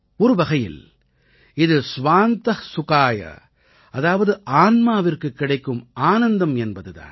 ஒரு வகையில் இது ஸ்வாந்த சுகாய அதாவது ஆன்மாவிற்குக் கிடைக்கும் ஆனந்தம் என்பது தான்